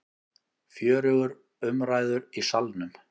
Fjörugur umræður í Salnum